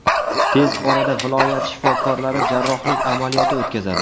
Tez orada viloyat shifokorlari jarrohlik amaliyoti o‘tkazadi.